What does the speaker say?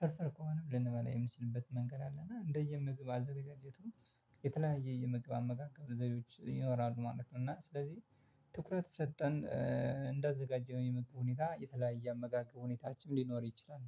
ፍርፍር ከሆነ ብለን በላይ የምንችልበት መንገድ አለ። እና እንደየ ምግብ አዘጋጀቱም የተለያየ የመግብ አመጋገብ ዘይቤዎች ይኖራሉ ማለት ነው። እና ስለዚህ ትኩረት ሰጠን እንዳዘጋጀን የመግብ ሁኔታ የተለያየ አመጋገብ ሁኔታችንም ሊኖር ይችላል